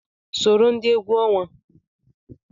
Soro ndị egwu ọnwa!